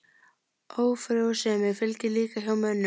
Ófrjósemi fylgir líka hjá mönnum.